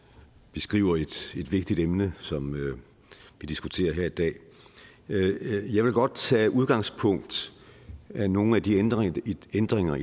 beskriver et vigtigt emne som vi diskuterer her i dag jeg vil godt tage udgangspunkt i nogle af de ændringer de ændringer